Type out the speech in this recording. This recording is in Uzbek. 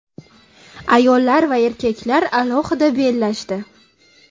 Ayollar va erkaklar alohida bellashdi.